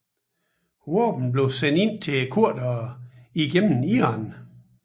Våben blev sendt ind til kurderne gennem Iran